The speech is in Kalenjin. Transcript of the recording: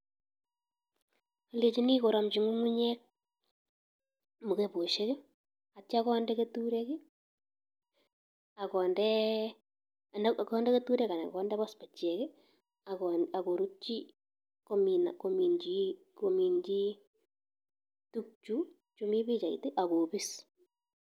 Alenjini koromji ng'ung'unyek mukebosiek aitya konde keturek anan pospet ak korutyi tukchu mi pichait akobis.